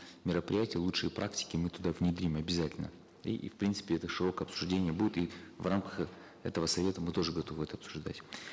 мероприятия лучшие практики мы туда внедрим обязательно и в принципе это широкое обсуждение будет и в рамках этого совета мы тоже готовы это обсуждать